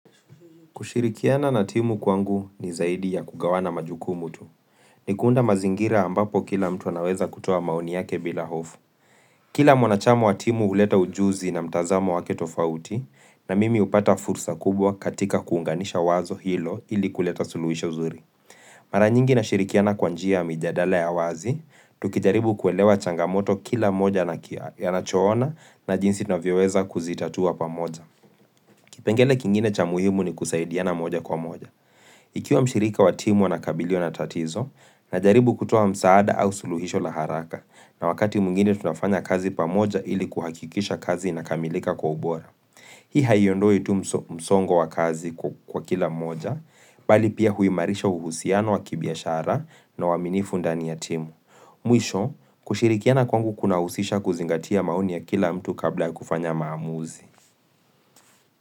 Kushirikiana na timu kwangu ni zaidi ya kugawana majukumu tu. Ni kuunda mazingira ambapo kila mtu anaweza kutuoa maoni yake bila hofu. Kila mwanachama wa timu uleta ujuzi na mtazamo wake tofauti na mimi upata fursa kubwa katika kuunganisha wazo hilo ili kuleta suluhisho uzuri. Mara nyingi nashirikiana kwa njia ya mijadala ya wazi, tukijaribu kuelewa changamoto kila moja na anachoona na jinsi navyoweza kuzitatua pamoja. Kipengele kingine cha muhimu ni kusaidiana moja kwa moja. Ikiwa mshirika wa timu anakabiliwa na tatizo, najaribu kutoa msaada au suluhisho la haraka na wakati mwingine tunafanya kazi pamoja ili kuhakikisha kazi inakamilika kwa ubora. Hii haiondoi tu msongo wa kazi kwa kila mmoja, bali pia huimarisha uhusiano wa kibiashara na uaminifu ndani ya timu. Mwisho, kushirikiana kwangu kuna husisha kuzingatia maoni ya kila mtu kabla ya kufanya maamuzi.